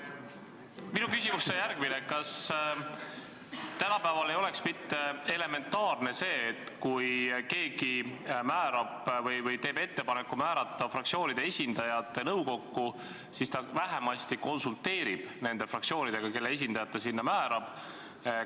Minu küsimus on järgmine: kas tänapäeval ei oleks elementaarne, et kui keegi teeb ettepaneku määrata fraktsioonide esindajad nõukokku, siis ta vähemasti konsulteerib nende fraktsioonidega, kelle esindajad ta sinna määrab?